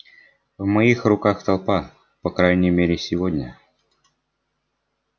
в моих руках толпа по крайней мере сегодня